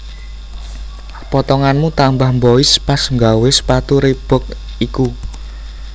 Potonganmu tambah mbois pas nggawe sepatu Reebok iku